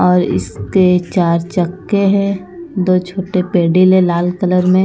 और इसके चार चक्के हैं दो छोटे पेडील है लाल कलर में--